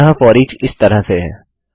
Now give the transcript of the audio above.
अतः फोरिच इस तरह से है